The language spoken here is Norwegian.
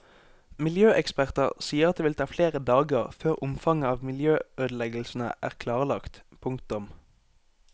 Miljøeksperter sier at det vil ta flere dager før omfanget av miljøødeleggelsene er klarlagt. punktum